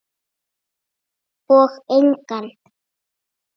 Og engan.